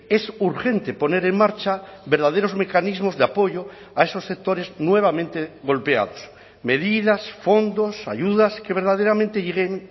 es urgente poner en marcha verdaderos mecanismos de apoyo a esos sectores nuevamente golpeados medidas fondos ayudas que verdaderamente lleguen